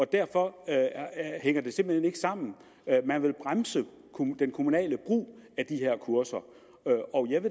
derfor hænger det simpelt hen ikke sammen man vil bremse den kommunale brug af de her kurser